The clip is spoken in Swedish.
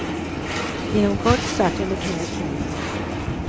Inom kort satt hon i knäet på honom.